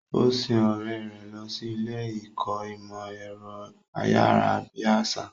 Ó sin ọ̀rẹ́ rẹ̀ lọ sí ilé ìkọ́ ìmọ̀ ẹ̀rọ ayárabíàṣá.